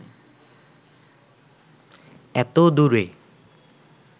এত দূরে